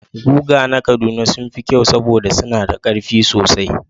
Guga na Kaduna sun fi kyau saboda suna da ƙarfi sosai